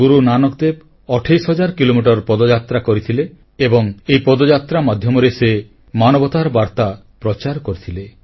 ଗୁରୁ ନାନକ ଦେବ ଅଠେଇଶି ହଜାର କିଲୋମିଟର ପଦଯାତ୍ରା କରିଥିଲେ ଏବଂ ଏହି ପଦଯାତ୍ରା ମାଧ୍ୟମରେ ସେ ମାନବତାର ବାର୍ତ୍ତା ପ୍ରଚାର କରିଥିଲେ